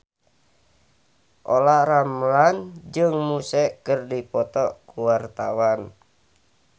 Olla Ramlan jeung Muse keur dipoto ku wartawan